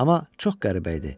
Amma çox qəribə idi.